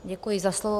Děkuji za slovo.